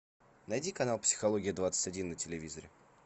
найди канал психология двадцать один на телевизоре